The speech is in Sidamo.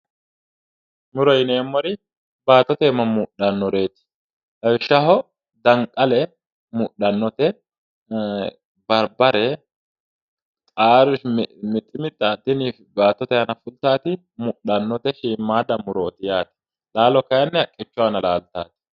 Muro yineemmori baattote iima mudhannoreeti. lawishshaho danqale mudhannote barbare qaare miximixxa tini baattote aana fultaati mudhannote shiimaadda murooti yaate. laalo kaayiinni haqqichu aana laaltaate.